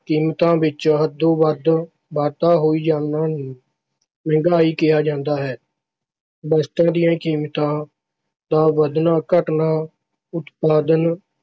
ਕੀਮਤਾਂ ਵਿਚ ਹੱਦੋਂ ਵੱਧ ਵਾਧਾ ਹੋ ਜਾਣ ਨੂੰ ਮਹਿੰਗਾਈ ਕਿਹਾ ਜਾਂਦਾ ਹੈ। ਵਸਤਾਂ ਦੀਆਂ ਕੀਮਤਾਂ ਦਾ ਵੱਧਣਾ ਘੱਟਣਾ ਉਤਪਾਦਨ